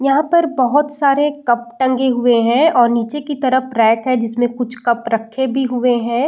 यहां पर बहुत सारे कप टंगे हुए है और नीचे की तरफ रैक है जिसमे कुछ कप रखे भी हुए है।